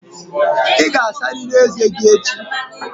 Ị ga-asarịrị ezé gị echi!